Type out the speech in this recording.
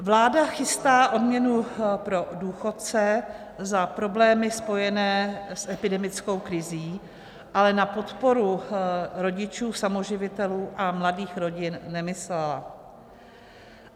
Vláda chystá odměnu pro důchodce za problémy spojené s epidemickou krizí, ale na podporu rodičů samoživitelů a mladých rodin nemyslela.